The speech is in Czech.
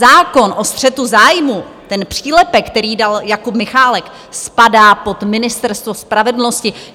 Zákon o střetu zájmů, ten přílepek, který dal Jakub Michálek, spadá pod Ministerstvo spravedlnosti.